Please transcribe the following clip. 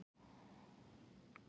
sagði hann og skellihló.